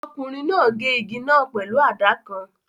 Ọkùnrin náà gé igi náà pẹ̀lú àdá kan